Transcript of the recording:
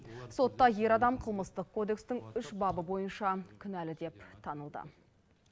сотта ер адам қылмыстық кодекстің үш бабы бойынша кінәлі деп танылды